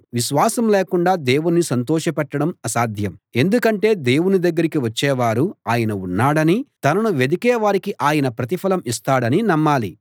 విశ్వాసం లేకుండా దేవుణ్ణి సంతోషపెట్టడం అసాధ్యం ఎందుకంటే దేవుని దగ్గరికి వచ్చేవారు ఆయన ఉన్నాడనీ తనను వెదికే వారికి ఆయన ప్రతిఫలం ఇస్తాడనీ నమ్మాలి